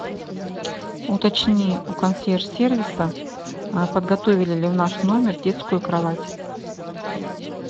уточни у консьерж сервиса подготовили ли в наш номер детскую кровать